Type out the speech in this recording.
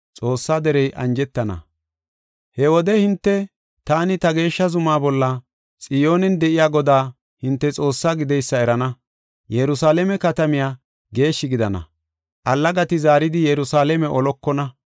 “He wode hinte, taani ta geeshsha zumaa bolla, Xiyoonen de7iya Godaa hinte Xoossaa gideysa erana. Yerusalaame katamay geeshshi gidana; allagati zaaridi Yerusalaame olokona.